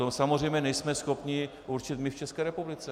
To samozřejmě nejsme schopni určit my v České republice.